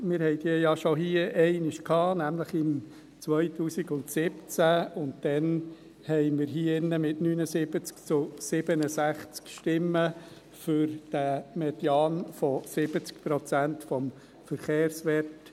Wir hatten diese ja schon einmal behandelt, nämlich im Jahr 2017, und damals stimmten wir hier drin mit 79 zu 67 Stimmen für diesen Median von 70 Prozent des Verkehrswerts.